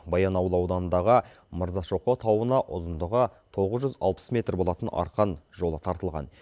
баянауыл ауданындағы мырзашоқы тауына ұзындығы тоғыз жүз алпыс метр болатын арқан жолы тартылған